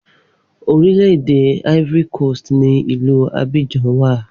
Orílẹ̀ èdè Ivory Coast ni Ilu Abidjan wà